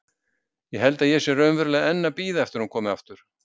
Ég held að ég sé raunverulega enn að bíða eftir að hún komi aftur.